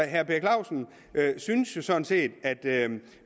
herre per clausen synes jo sådan set at man